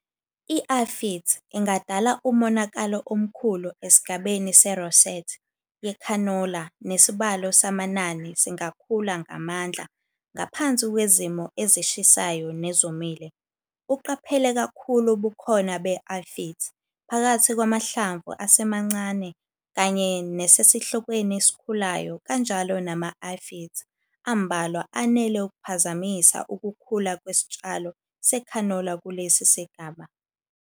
I-Aphids ingadala umonakalo omkhulu esigabeni se-rosette yekhanola nesibalo samanani singakhula ngamandla ngaphansi kwezimo ezishisayo nezomile. Uqaphele kakhulu ubukhona be-aphids phakathi kwamahlamvu asemancane kanye nesesihlokweni esikhulayo kanjalo nama-aphids ambalwa anele ukuphazamisa ukukhula kwesitshalo sekhanola kulesi sigaba.